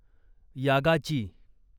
यागाची